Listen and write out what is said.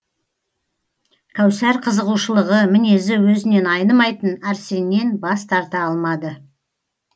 кәусар қызығушылығы мінезі өзінен айнымайтын арсеннен бас тарта алмады